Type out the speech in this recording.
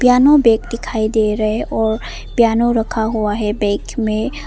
piano bag दिखाई दे रहे हैं और पियानो रखा हुआ है बैग में--